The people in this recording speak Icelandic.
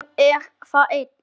Þannig er það enn.